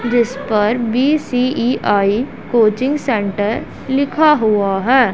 जिस पर B C E I coaching centre लिखा हुआ है।